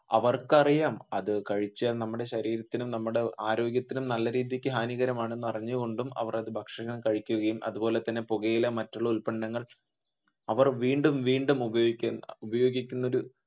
അവർക്കറിയാം അത് കഴിച്ചാൽ നമ്മുടെ ശരീരത്തിനും നമ്മുടെ ആരോഗ്യത്തിനും നല്ല രീതിക്ക് ഹാനികരമാണെന്ന് അറിഞ്ഞുകൊണ്ടും അവർ അത് ഭക്ഷണം കഴിക്കുകയും അതുപോലെ പുകയില മറ്റുള്ള ഉത്പന്നങ്ങൾ അവർ വീണ്ടും വീണ്ടും ഉപയോഗിക്കുന്ന ഒരു